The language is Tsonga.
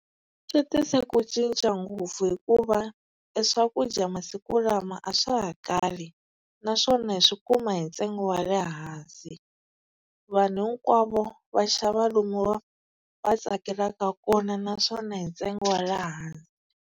Swi tise ku cinca ngopfu hikuva e swakudya masiku lama a swa ha kali, naswona hi swi kuma hi ntsengo wa le hansi. Vanhu hinkwavo va xava lomu va tsakelaka kona naswona hi ntsengo wa le hansi.